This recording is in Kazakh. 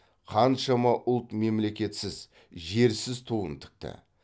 қаншама ұлт мемлекетсіз жерсіз туын тікті